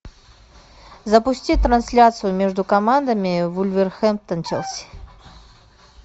запусти трансляцию между командами вулверхэмптон челси